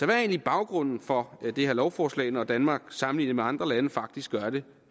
er egentlig baggrunden for det her lovforslag når danmark sammenlignet med andre lande faktisk gør det